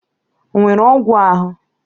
Onwere ogwu ahu?